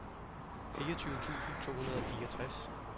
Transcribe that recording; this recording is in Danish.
fireogtyve tusind to hundrede og fireogtres